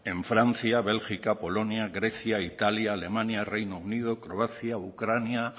en francia bélgica polonia grecia italia alemania reino unido croacia ucrania